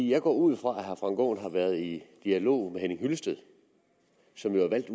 jeg går ud fra at herre frank aaen har været i dialog med herre henning hyllested som jo er valgt i